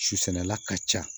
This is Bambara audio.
Susɛnɛla ka ca